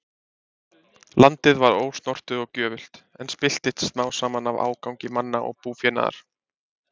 Landið var ósnortið og gjöfult, en spilltist smám saman af ágangi manna og búfénaðar.